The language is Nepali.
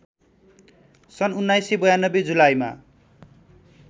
सन् १९९२ जुलाईमा